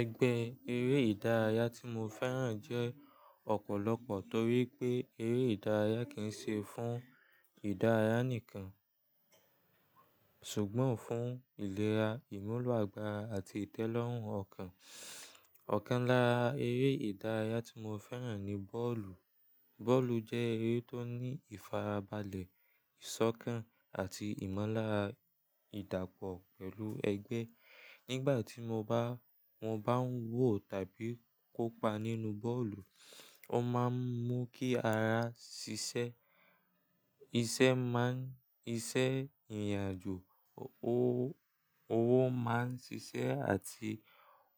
Ẹgbẹ́ eré ìdárayá tí mo fẹ́ràn jẹ́ ọ̀pọ̀lọpọ̀ torí pé eré ìdárayá kì n ṣe fún ìdárayá nìkan ṣùgbọ́n fún ìlera, ìmúlò àgbàrá àti ìtẹ́lọ́rùn ọkàn. Ọ̀kan lára eré ìdárayá tí mo fẹ́ràn ni bọ́ọ̀lù. Bọ́ọ̀lù jẹ́ eré tó ní ìfarabalẹ̀, ìsọ́kàn àti ìmúlára idàpọ̀ pẹ̀lú ẹgbẹ́. Nígbà tí mo ba, wọn bá ń wò tàbí kópa nínú bọ́ọ̀lù, ó máa ń mú kí ara ṣiṣẹ́ iṣẹ́ máa n, iṣẹ́ ìrìnàjò owó, owo máa ń ṣiṣẹ́ àti